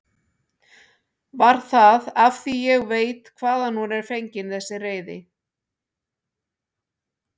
Var það af því ég veit hvaðan hún er fengin þessi reiði?